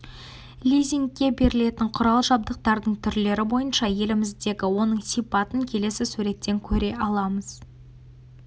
лизингке берілетін құрал-жабдықтардың түрлері бойынша еліміздегі оның сипатын келесі суреттен көре аламыз